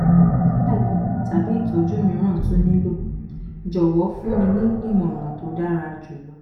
ṣé àyẹ̀wò tàbí ìtọ́jú mìíràn tún nílò? jọ̀wọ́ fún mi ní ìmọ̀ràn tó dára um jù lọ